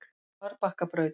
Marbakkabraut